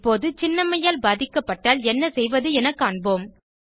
இப்போது சின்னம்மையால் பாதிக்கப்பட்டால் என்ன செய்வது என காண்போம்